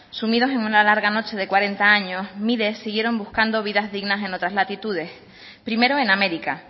sumidos en una larga noche de cuarenta años miles siguieron buscando vidas dignas en otras latitudes primero en américa